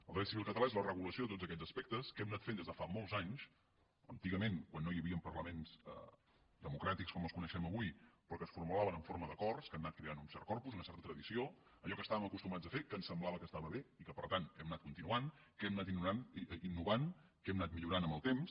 el dret civil català és la regulació de tots aquests aspectes que hem anat fent des de fa molts anys antigament quan no hi havia parlaments democràtics com els coneixem avui però que es formulaven en forma d’acords que han anat creant un cert corpus una certa tradició allò que estàvem acostumats a fer que ens semblava que estava bé i que per tant hem anat continuant que hem anat innovant que hem anat millorant amb el temps